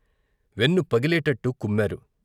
వెన్ను పగిలేటట్టు కుమ్మారు.